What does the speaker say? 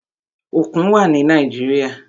Òkun wà ni Nàíjíríà.